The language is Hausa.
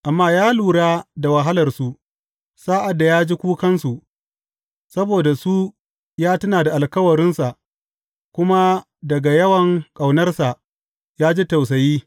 Amma ya lura da wahalarsu sa’ad da ya ji kukansu; saboda su ya tuna da alkawarinsa kuma daga yawan ƙaunarsa ya ji tausayi.